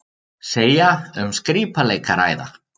Segja um skrípaleik að ræða